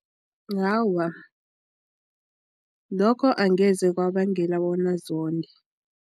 Awa, lokho angeze kwabangela bona zonde.